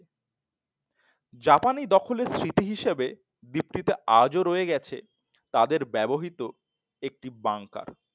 জাপানি দখলের স্মৃতি হিসেবে দীপ্তিতে আজও রয়ে গেছে তাদের ব্যবহৃত একটি bunker